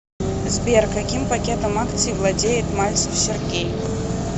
сбер каким пакетом акций владеет мальцев сергей